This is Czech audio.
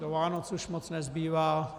Do Vánoc už moc nezbývá.